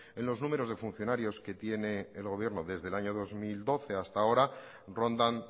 en los números de funcionarios que tiene el gobierno desde el año dos mil doce hasta ahora rondan